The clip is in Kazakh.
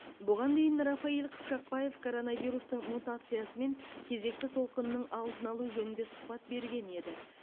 бұған дейін рафаиль қыпшақбаев коронавирустың мутациясы мен кезекті толқынының алдын алу жөнінде сұхбат берген еді